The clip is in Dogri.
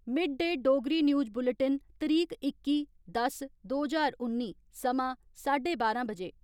mid day Dogri news bulletin तरीक इक्की, दस, दो ज्हार उन्नी समां साढे बारां बजे